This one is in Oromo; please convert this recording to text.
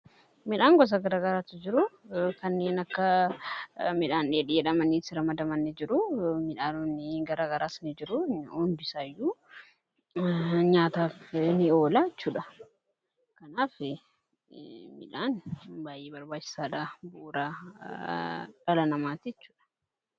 Midhaan gosa garagaraatu jiru kanneen akka midhaan dheedhii jedhamanii ramadamanii jiru. Midhaannonni gara garaas ni jiru hundisaayyuu nyaataf ni oola jechuudha. Kanaaf midhaan baay'ee barbaachisaadha bu'ura dhala namaati jechuudha.